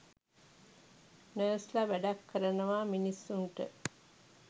Nurse ල වැඩක් කරනවා මිනිස්සුන්ට.